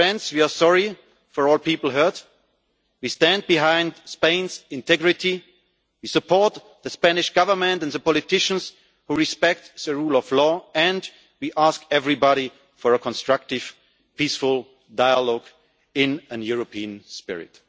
We are sorry for all people hurt. We stand behind Spain's integrity. We support the Spanish Government and the politicians who respect the rule of law and we ask everybody for a constructive, peaceful dialogue in a European spirit.